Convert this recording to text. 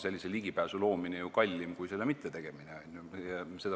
Sellise ligipääsu loomine on kallim kui selle mittetegemine.